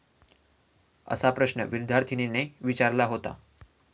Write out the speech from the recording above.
असा प्रश्न विद्यार्थीनेने विचारला होता.